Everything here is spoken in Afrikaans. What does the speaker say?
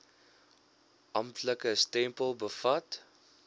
amptelike stempel bevat